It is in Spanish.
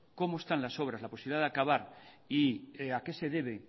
cómo están las obras la posibilidad de acabar y a qué se debe